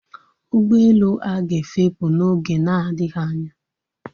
Ụgbọelu a ga-efepù n'oge na-adịghị anya